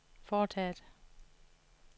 foretaget